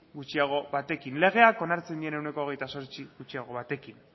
gutxiago batekin legeak onartzen dien ehuneko hogeita zortzi gutxiago batekin